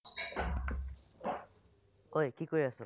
ঐ কি কৰি আছ?